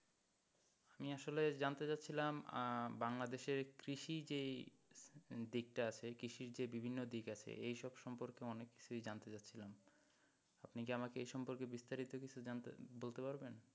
আমি আসলে জানতে চাচ্ছিলাম বাংলাদেশের কৃষি যেই যে দিকটা আছে কৃষির যে বিভিন্ন দিক আছে এইসব সম্পর্কে অনেক কিছুই জানতে চাচ্ছিলাম আপনি কি আমাকে এই সম্পর্কে বিস্তারিত কিছু জানতে, বলতে পারবেন?